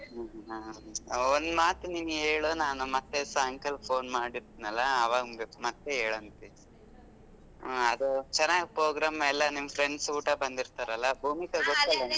ಹ್ಮ್ ಹ್ಮ್ ಹಾ ಹಾ ಒಂದ್ ಮಾತು ನಿನ್ ಹೇಳು ನಾನ್ ಮತ್ತೆ ಸಾಯಂಕಾಲ phone ಮಾಡಿರ್ತೀನಲ್ಲ ಅವಾಗ ಮತ್ತೆ ಹೇಳುವಂತಿ ಅಹ್ ಅದು ಚನಾಗ್ program ಎಲ್ಲಾ ನಿಮ್ friends ಕೂಡಾ ಬಂದಿರ್ತಾರಲ್ಲ ಭೂಮಿಕಾ ಗೊತ್ತ ಅಲಾ ನಿನಗೆ .